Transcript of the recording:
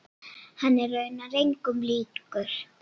Hann er raunar engum líkur.